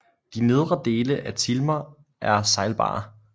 De nedre dele af Tilma er sejlbare